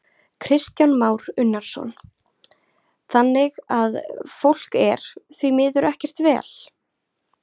Kristján Már Unnarsson: Þannig að fólk er, því líður ekkert vel?